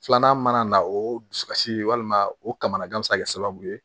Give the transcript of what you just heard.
Filanan mana na o dusukasi walima o kamanagan be se ka kɛ sababu ye